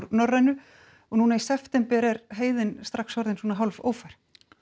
Norrænu og núna í september er heiðin strax orðin svona hálf ófær